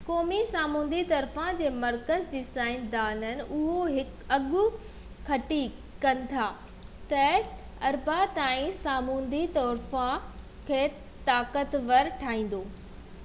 قومي سامونڊي طوفان جي مرڪز جي سائنسدانن اهو اڳ ڪٿي ڪن ٿا تہ ڊينئيل اربع تائين سامونڊي طوفان کي طاقتور ٺاهيندو